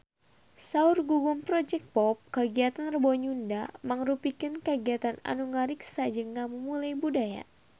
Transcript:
Saur Gugum Project Pop kagiatan Rebo Nyunda mangrupikeun kagiatan anu ngariksa jeung ngamumule budaya Sunda